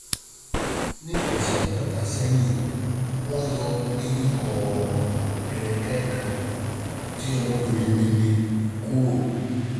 Ní ọ̀sẹ̀ mẹ́ta sẹ́yìn, wọ́n yọ eyín kọ̀rọ̀ ẹ̀rẹ̀kẹ́ kan molar tí ọmọbìnrin mi ní um kúrò